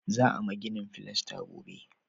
Za a ma ginin filasta gobe